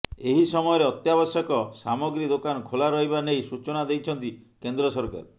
ଏହି ସମୟରେ ଅତ୍ୟାବଶ୍ୟକ ସାମଗ୍ରୀ ଦୋକାନ ଖୋଲା ରହିବା ନେଇ ସୂଚନା ଦେଇଛନ୍ତି କେନ୍ଦ୍ର ସରକାର